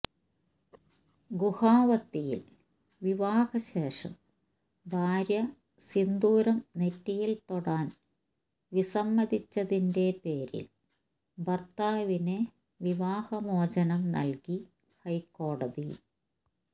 ഗുവാഹത്തിയിൽ വിവാഹശേഷം ഭാര്യ സിന്ദൂരം നെറ്റിയിൽ തൊടാൻ വിസമ്മതിച്ചതിന്റെ പേരിൽ ഭർത്താവിന് വിവാഹമോചനം നൽകി ഹൈക്കോടതി